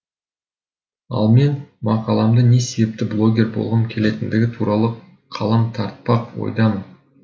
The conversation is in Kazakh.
ал мен мақаламды не себепті блогер болғым келетіндігі туралы қалам тартпақ ойдамын